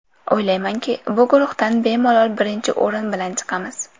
O‘ylaymanki, bu guruhdan bemalol birinchi o‘rin bilan chiqamiz.